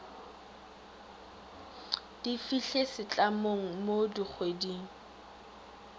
di fihle setlamong mo dikgweding